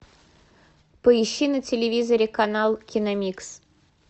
поищи на телевизоре канал киномикс